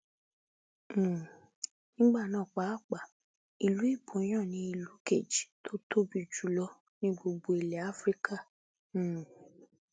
um nígbà náà pàápàá ìlú iboyàn ni ìlú kejì tó tóbi jù lọ ní gbogbo ilẹ afrika um